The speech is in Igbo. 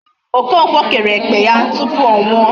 Okonkwo kere ekpe ya tupu ọ nwụọ.